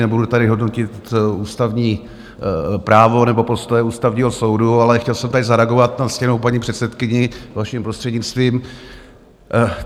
Nebudu tady hodnotit ústavní právo nebo postoje Ústavního soudu, ale chtěl jsem tady zareagovat na ctěnou paní předsedkyni, vaším prostřednictvím.